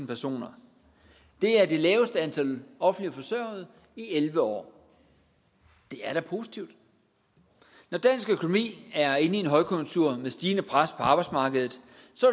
personer det er det laveste antal offentligt forsørgede i elleve år det er da positivt når dansk økonomi er inde i en højkonjunktur med stigende pres på arbejdsmarkedet